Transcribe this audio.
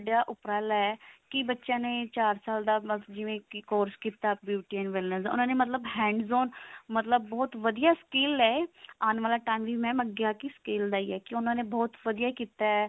ਦਾ ਉਪਰਾਲਾ ਹੈ ਕੀ ਬੱਚਿਆਂ ਨੇ ਚਾਰ ਸਾਲ ਦਾ ਮਤਲਬ ਜਿਵੇਂ ਕੀ course ਕੀਤਾ beauty ਬਣਨ ਦਾ ਉਹਨਾਂ ਨੇ ਮਤ੍ਲਨ hands on ਮਤਲਬ ਬਹੁਤ ਵਧੀਆ skill ਲਏ ਆਉਣ ਵਾਲਾ time ਵੀ mam ਅੱਗੇ ਆ ਕਿ skill ਦਾ ਹੀ ਹੈ ਬਹੁਤ ਵਧੀਆ ਕੀਤਾ